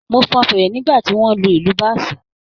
Mo fọn fèrè nígbà tí wọ́n ń lu ìlù báàsì